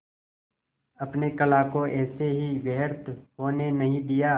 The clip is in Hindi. अपने कला को ऐसे ही व्यर्थ होने नहीं दिया